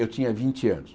Eu tinha vinte anos.